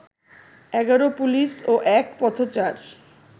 ১১ police ও এক পথচার